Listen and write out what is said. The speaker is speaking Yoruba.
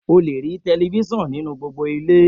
O le rí telifísàn nínú gbogbo ilé